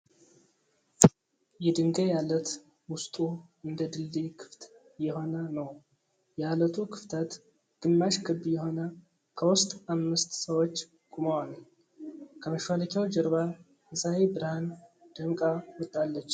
የድንጋይ አለት ዉስጡ እንደ ድልድይ ክፍት የሆነ ነዉ። የአለቱ ክፍተት ግማሽ ክብ የሆነ ከዉስጥ አምስት ሰዎች ቆመዋል። ከመሿለኪያዉ ጀርባ የፀሀይ ብርሀን ደምቃ ወጣለች።